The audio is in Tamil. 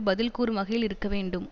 பதில் கூறும் வகையில் இருக்க வேண்டும்